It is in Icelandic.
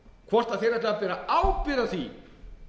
hvort þeir ætluðu að bera ábyrgð á því